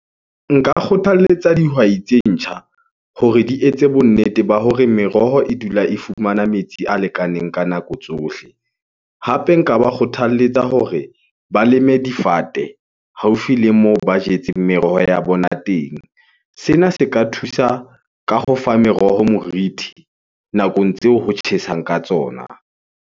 Nka kgothaletsa dihwai tse ntjha hore di etse bo nnete ba hore meroho e dula e fumana metsi a lekaneng ka nako tsohle. Hape nka ba kgothaletsa hore ba leme difate haufi le moo ba jetseng meroho ya bona teng. Sena se ka thusa ka ho fa meroho morithi nakong tseo ho tjhesang ka tsona.